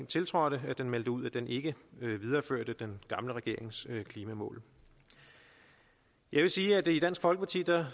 tiltrådte meldte ud at den ikke ville videreføre den gamle regerings klimamål jeg vil sige at vi i dansk folkeparti